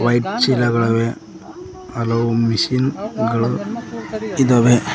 White ಚೀಲಗಳವೆ ಹಲವು machine ಗಳು ಇದಾವೆ.